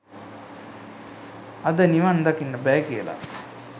අද නිවන් දකින්න බෑ කියලා